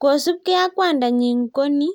Kosubkei ak kwandanyi koni